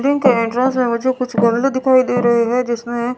building के entrance मुझे कुछ गमले दिखाई दे रहे है जिसमे--